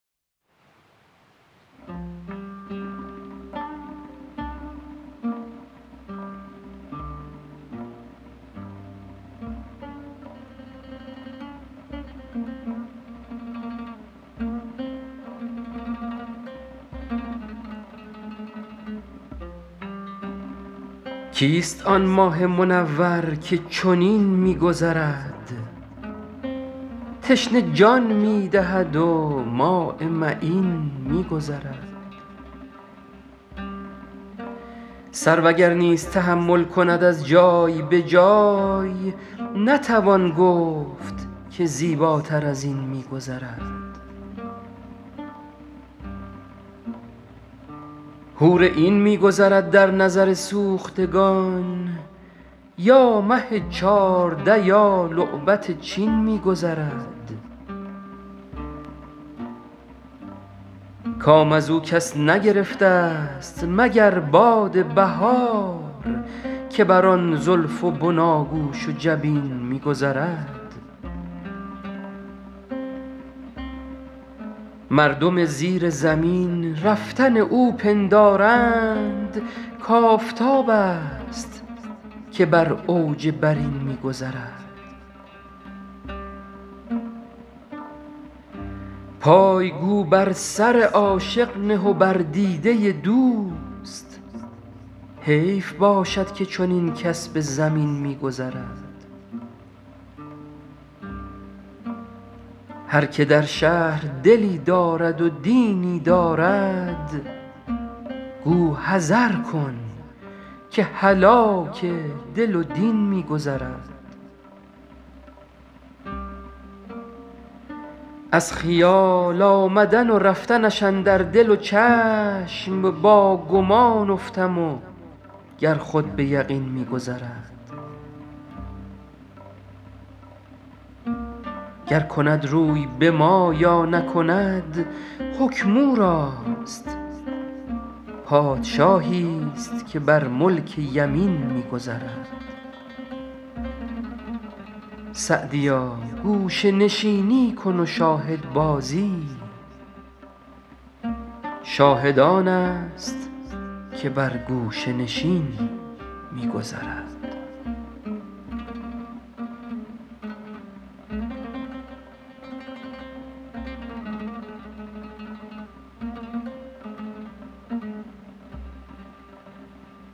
کیست آن ماه منور که چنین می گذرد تشنه جان می دهد و ماء معین می گذرد سرو اگر نیز تحول کند از جای به جای نتوان گفت که زیباتر از این می گذرد حور عین می گذرد در نظر سوختگان یا مه چارده یا لعبت چین می گذرد کام از او کس نگرفتست مگر باد بهار که بر آن زلف و بناگوش و جبین می گذرد مردم زیر زمین رفتن او پندارند کآفتابست که بر اوج برین می گذرد پای گو بر سر عاشق نه و بر دیده دوست حیف باشد که چنین کس به زمین می گذرد هر که در شهر دلی دارد و دینی دارد گو حذر کن که هلاک دل و دین می گذرد از خیال آمدن و رفتنش اندر دل و چشم با گمان افتم و گر خود به یقین می گذرد گر کند روی به ما یا نکند حکم او راست پادشاهیست که بر ملک یمین می گذرد سعدیا گوشه نشینی کن و شاهدبازی شاهد آنست که بر گوشه نشین می گذرد